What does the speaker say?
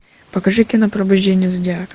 покажи кино пробуждение зодиака